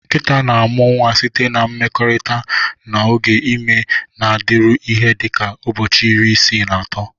Nkịta na-amụ nwa site na mmekorita, na oge ime na-adịru ihe dị ka ụbọchị iri isii na ato.